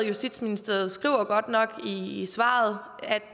justitsministeriet skriver godt nok i svaret at